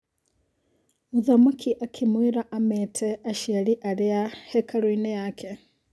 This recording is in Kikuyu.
Mũthamaki akĩmwĩra amete aciari arĩ a hekarũinĩ yake.